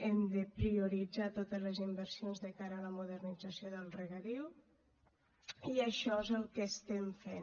hem de prioritzar totes les inversions de cara a la modernització del regadiu i això és el que estem fent